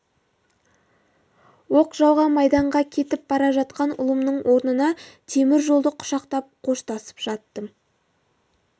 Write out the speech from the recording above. оқ жауған майданға кетіп бара жатқан ұлымның орнына темір жолды құшақтап қоштасып жаттым